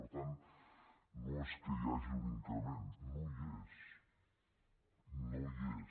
per tant no és que hi hagi un increment no hi és no hi és